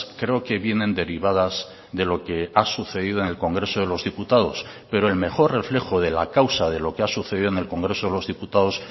creo que vienen derivadas de lo que ha sucedido en el congreso de los diputados pero el mejor reflejo de la causa de lo que ha sucedido en el congreso de los diputados